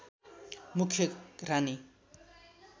मुख्य रानी